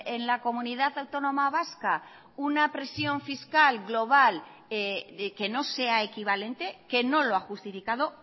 en la comunidad autónoma vasca una presión fiscal global de que no sea equivalente que no lo ha justificado